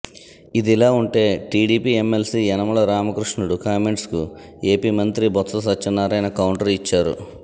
ఇదిలా ఉంటే TDP MLC Yanamala Ramakrishnudu కామెంట్స్కు ఏపీ మంత్రి బొత్స సత్యనారాయణ కౌంటర్ ఇచ్చారు